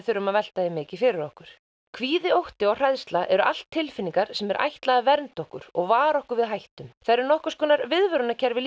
þurfa að velta því mikið fyrir okkur kvíði ótti og hræðsla eru allt tilfinningar sem er ætlað að vernda okkur og vara okkur við hættum þær eru nokkurs konar viðvörunarkerfi